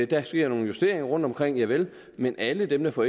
der sker nogle justeringer rundtomkring javel men alle dem der får